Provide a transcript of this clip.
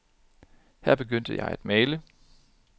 Her begyndte jeg at male.